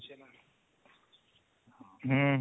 ହୁଁ ହୁଁ